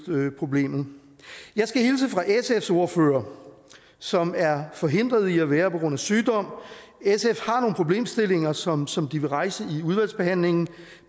problemet jeg skal hilse fra sfs ordfører som er forhindret i at være her på grund af sygdom sf har nogle problemstillinger som som de vil rejse i udvalgsbehandlingen